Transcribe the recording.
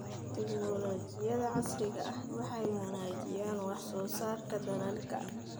Tiknoolajiyada casriga ahi waxay wanaajisaa wax soo saarka dalagga.